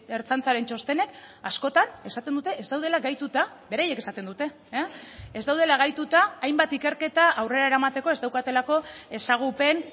ertzaintzaren txostenek askotan esaten dute ez daudela gaituta beraiek esaten dute ez daudela gaituta hainbat ikerketa aurrera eramateko ez daukatelako ezagupen